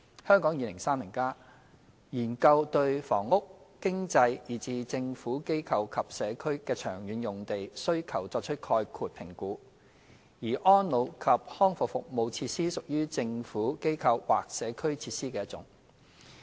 《香港 2030+》研究對房屋、經濟以至"政府、機構或社區"的長遠用地需求作出概括評估，而安老及康復服務設施屬於"政府、機構或社區"設施的一種。